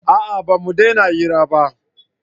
a'a ba mu dena hira ba